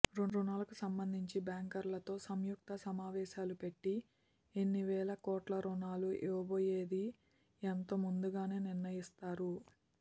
రుణాలకు సంబంధించి బ్యాంకర్లతో సం యుక్త సమావేశాలు పెట్టి ఎన్నివేలకోట్లరుణాలు ఇవ్వబో యేది ఎంతోముందుగానే నిర్ణయిస్తారు